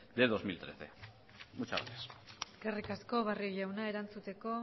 de dos mil trece muchas gracias eskerrik asko barrio jauna erantzuteko